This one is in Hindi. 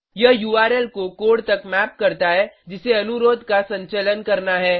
यह उर्ल को कोड तक मैप करता है जिसे अनुरोध का संचलन करना है